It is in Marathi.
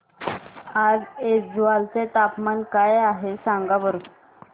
आज ऐझवाल चे तापमान काय आहे सांगा बरं